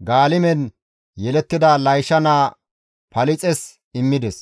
Gaalime deren yelettida Laysha naa Palixes immides.